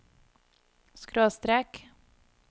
skråstrek